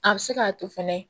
A bɛ se k'a to fɛnɛ